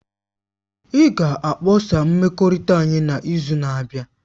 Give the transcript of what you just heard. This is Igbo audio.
Ị ga-akpọsa mmekọrịta anyị n'izu na-abịa.